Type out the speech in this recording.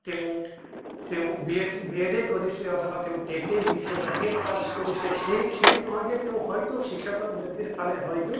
তেওঁ তেওঁ B Ed B Ed য়ে কৰিছে অথবা তেওঁ TET য়ে দিছে বা TET pass কৰিছে সেই সেই নহয় যে তেওঁ হয়্তো শিক্ষকৰ বৃত্তিৰ ফালে হয়্তো